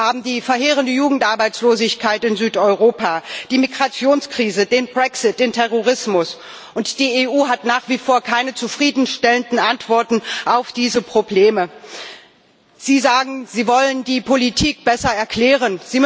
Wir haben die verheerende Jugendarbeitslosigkeit in Südeuropa, die Migrationskrise, den Brexit, den Terrorismus und die EU hat nach wie vor keine zufriedenstellenden Antworten auf diese Probleme. Sie sagen, Sie wollen die Politik besser erklären.